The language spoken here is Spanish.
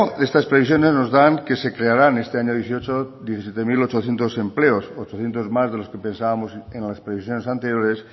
estas previsiones nos dan que se crearan este año dos mil dieciocho diecisiete mil ochocientos empleos ochocientos más de los que pensábamos en las previsiones anteriores